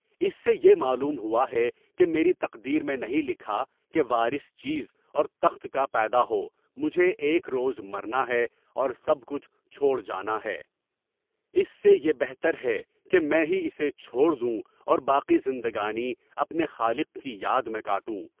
اس سے یہ معلوم ہوا ہے کہ میری تقدیر میں نہیں لکھا کہ وارث چیز اور تخت کا پیدا ہو۔ مجھے ایک روز مرنا ہے اور سب کچھ چھوڑ جانا ہے، اس سے بہتر ہے کہ میں ہی اسے چھوڑ دوں اور باقی زندگانی اپنے خالق کی یاد میں گزاروں۔